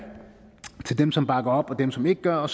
til dem som bakker op og dem som ikke gør og